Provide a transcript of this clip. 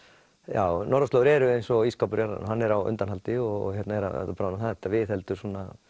já norðurslóðir eru eins og ísskápur jarðarinnar hann er á undanhaldi og er að bráðna þetta viðheldur